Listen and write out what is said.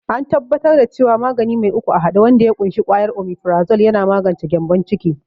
an tabbatar da cewa magani mai uku a hade wanda ya ƙunshi kwayar omifrazol yana magance gyambon ciki